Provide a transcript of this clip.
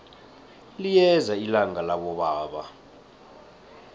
liyeza ilanga labobaba